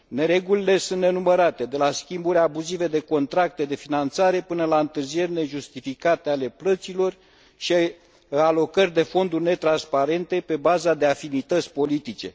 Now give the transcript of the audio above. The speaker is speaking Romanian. Neregulile sunt nenumărate de la schimburi abuzive de contracte de finanțare, până la întârzieri nejustificate ale plăților și alocări de fonduri netransparente, pe bază de afinități politice.